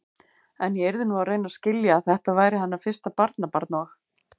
En ég yrði nú að reyna að skilja, að þetta væri hennar fyrsta barnabarn og.